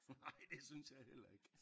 Nej det synes jeg heller ikke